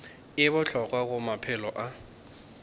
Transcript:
e bohlokwa go maphelo a